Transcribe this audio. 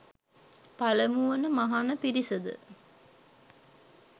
පළමු වන මහණ පිරිසද